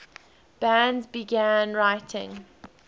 bands began writing